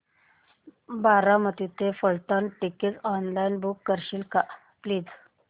बारामती ते Phaltan ticket online book करशील का प्लीज